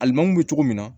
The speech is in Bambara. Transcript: Alimamu bɛ cogo min na